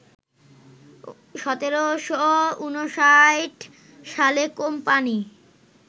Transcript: ১৭৫৯ সালে কোম্পানি